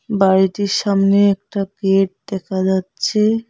বাড়িটির সামনে একটা গেট দেখা যাচ্ছে।